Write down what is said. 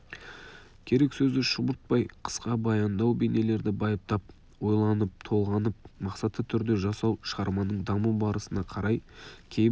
керек сөзді шұбыртпай қысқа баяндау бейнелерді байыптап ойланып-толғанып мақсатты түрде жасау шығарманың даму барысына қарай кейбір